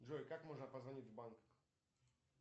джой как можно позвонить в банк